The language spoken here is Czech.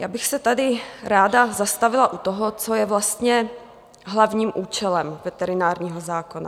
Já bych se tady ráda zastavila u toho, co je vlastně hlavním účelem veterinárního zákona.